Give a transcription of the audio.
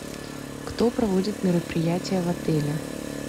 кто проводит мероприятия в отеле